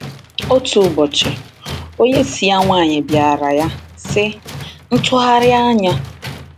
Otu ụbọchị, onyeisi ya nwanyị bịara ya, sị: “Ntụgharị anya!”